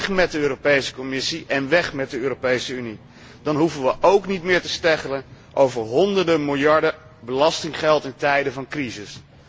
Weg met de Commissie en weg met de Europese Unie, dan hoeven we ook niet meer te steggelen over honderden miljarden belastinggeld in tijden van crisis.